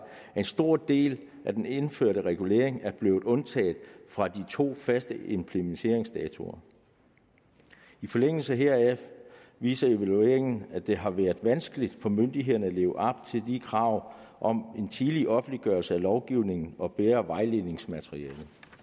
at en stor del af den indførte regulering er blevet undtaget fra de to faste implementeringsdatoer i forlængelse heraf viser evalueringen at det har været vanskeligt for myndighederne at leve op til de krav om en tidlig offentliggørelse af lovgivningen og bedre vejledningsmateriale